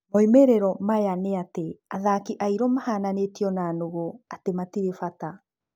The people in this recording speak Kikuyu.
Moimĩrĩro mayo nĩ atĩ athaki airũ mahananitio na nũgũ: atĩ matirĩ bata.